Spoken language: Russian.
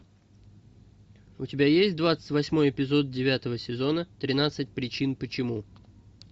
у тебя есть двадцать восьмой эпизод девятого сезона тринадцать причин почему